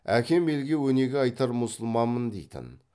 әкем елге өнеге айтар мұсылманмын дейтін